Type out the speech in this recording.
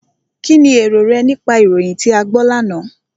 Kínni èrò rẹ nípa ìròyìn tí a gbọ́ lánàá?